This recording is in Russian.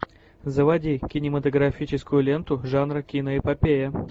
заводи кинематографическую ленту жанра киноэпопея